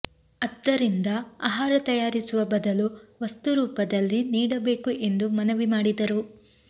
ಅದ್ದರಿಂದ ಆಹಾರ ತಯಾರಿಸುವ ಬದಲು ವಸ್ತು ರೂಪದಲ್ಲಿ ನೀಡಬೇಕು ಎಂದು ಮನವಿ ಮಾಡಿದರು